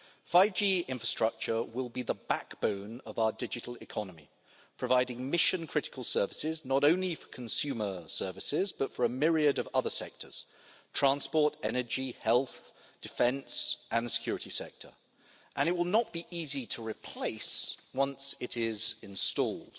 5G infrastructure will be the backbone of our digital economy, providing mission critical services, not only for consumer services, but for a myriad of other sectors transport, energy, health, defence and the security sector and it will not be easy to replace once it is installed.